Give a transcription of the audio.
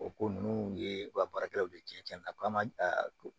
O ko ninnu ye u ka baarakɛlaw ye cɛncɛn na k'an ma don